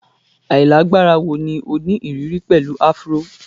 Ailagbara wo ni o ni iriri pẹlu afro?